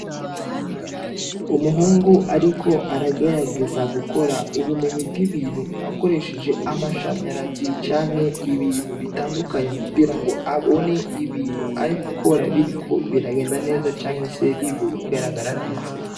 Umuhungu ariko aragerageza gukora ubumenyi bw'ibintu akoresheje amashanyarazi canke ibintu bitandukanye kugiras ngo abone ibintu arigukora biriko biragenda canke bigaragara neza.